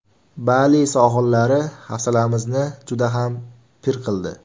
Bali sohillari hafsalamizni juda ham pir qildi.